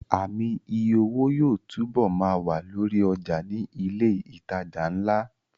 Ààmì iye owó yóò túbọ̀ ma wà lórí ọjà ní ilẹ̀ ìtajà ńlá